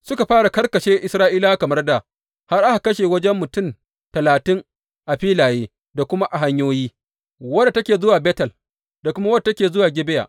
Suka fara karkashe Isra’ilawa kamar dā, har aka kashe wajen mutum talatin a filaye da kuma a hanyoyi, wadda take zuwa Betel da kuma wadda take zuwa Gibeya.